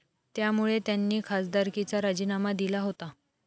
त्यामुळे त्यांनी खासदारकीचा राजीनामा दिला होता.